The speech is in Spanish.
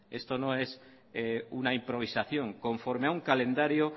esto no es una improvisación conforme a un calendario